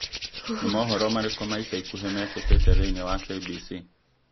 Nĩ mohoro marĩkũ ma ica ikuhĩ mekĩkĩte thĩinĩ wa K.B.C.?